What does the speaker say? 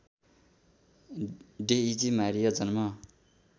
Daisy Maria जन्म